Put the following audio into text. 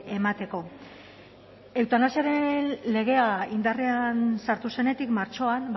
emateko eutanasiaren legea indarrean sartu zenetik martxoan